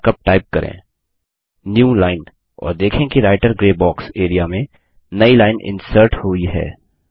यह markup type करें newline और देखें कि रायटर ग्रे बॉक्स एरिया में नई लाइन इन्सर्ट हुई है